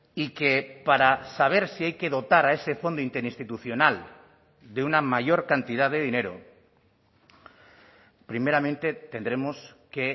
y que para saber si hay que dotar a ese fondo interinstitucional de una mayor cantidad de dinero primeramente tendremos que